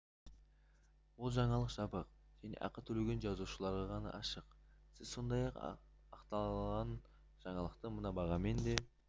бұл жаңалық жабық және ақы төлеген жазылушыларға ғана ашық сіз сондай-ақ аталған жаңалықты мына бағамен де